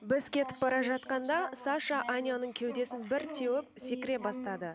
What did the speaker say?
біз кетіп бара жатқанда саша аняның кеудесін бір теуіп секіре бастады